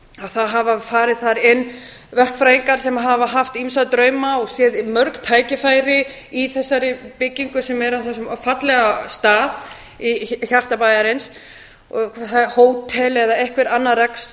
það hafa farið þar inn verkfræðingar sem hafa haft ýmsa drauma og séð mörg tækifæri í þessari byggingu sem er á þessum fallega stað í hjarta bæjarins hótel eða einhver annar